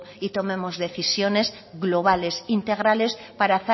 y tomemos decisiones globales integrales para